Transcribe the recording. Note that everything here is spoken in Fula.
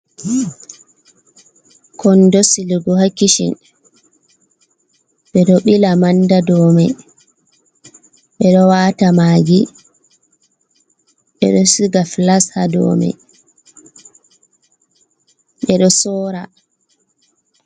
Kondo silugo ha kishin, ɓeɗo ɓila manda domai, ɓeɗo wata magi, ɓeɗo siga filas hado mai, ɓeɗo sora.